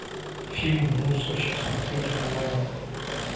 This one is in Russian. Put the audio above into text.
фильм мусорщик смотреть онлайн